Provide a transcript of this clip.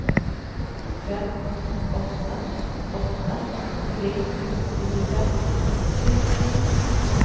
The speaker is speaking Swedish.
fem åtta åtta tre nittiofem trehundranitton